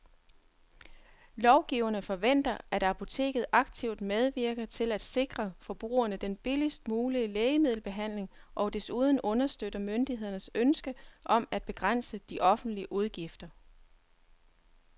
Lovgiverne forventer, at apoteket aktivt medvirker til at sikre forbrugerne den billigst mulige lægemiddelbehandling og desuden understøtter myndighedernes ønske om at begrænse de offentlige udgifter.